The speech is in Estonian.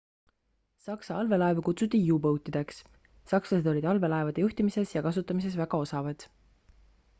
saksa allveelaevu kutsuti u-boat'ideks sakslased olid allveelaevade juhtimises ja kasutamises väga osavad